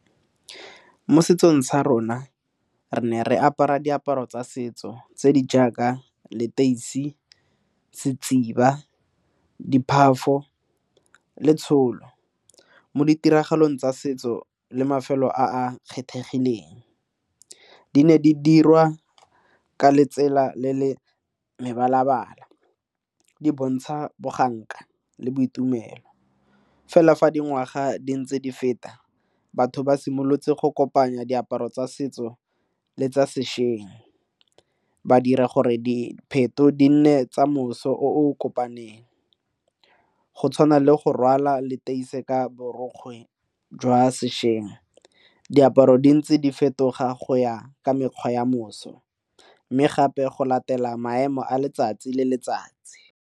Mo setsong sa rona re ne re apara diaparo tsa setso tse di jaaka leteisi, setsiba, le tsholo mo ditiragalong tsa setso le mafelo a a kgethegileng di ne di dirwa ka letsela le le mebala-bala di bontsha boganka le boitumelo fela fa dingwaga di ntse di feta batho ba simolotse go kopanya diaparo tsa setso le tsa sešweng ba dira gore dipheto di nne tsa moso o kopaneng go tshwana le go rwala le tenese ka borokgwe jwa sešweng, diaparo di ntse di fetoga go ya ka mekgwa ya moso mme gape go latela maemo a letsatsi le letsatsi.